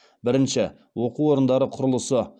бірінші оқу орындары құрылысы